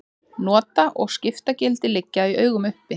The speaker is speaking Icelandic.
Nota- og skiptagildi liggja í augum uppi.